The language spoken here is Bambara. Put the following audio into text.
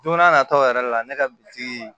Don n'a nataw yɛrɛ la ne ka bitiki